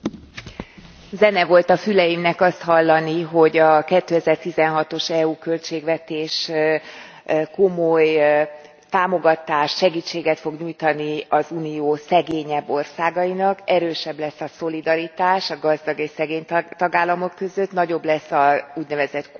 Zene volt a füleimnek azt hallani, hogy a 2016 os EU költségvetés komoly támogatást, segítséget fog nyújtani az Unió szegényebb országainak, erősebb lesz a szolidaritás a gazdag és szegény tagállamok között, nagyobb lesz az úgynevezett kohézió,